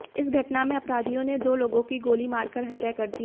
इस घटना में अपराधियों ने दो लोगों की गोली मारकर हत्या कर दी